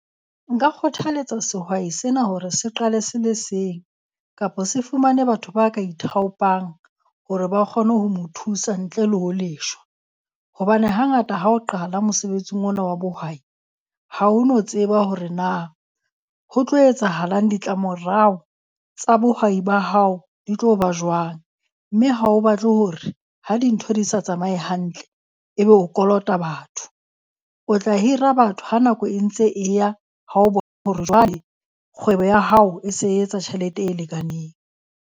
Nka kgothaletsa sehwai sena hore se qale se le seng, kapo se fumane batho ba ka ithaopang hore ba kgone ho mo thusa ntle le ho leshwa. Hobane hangata ha o qala mosebetsing ona wa bohwai, ha ho no tseba hore na ho tlo etsahalang ditlamorao tsa bohwai ba hao di tlo ba jwang. Mme ha o batle hore ha dintho di sa tsamaye hantle, ebe o kolota batho. O tla hira batho ha nako e ntse e ya, ha o hore jwale kgwebo ya hao e se e etsa tjhelete e lekaneng.